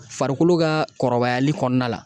Farikolo ka kɔrɔbayali kɔnɔna la